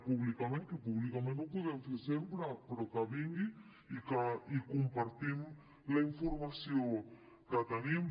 públicament que públicament ho podem fer sempre però que vingui i compartim la informació que tenim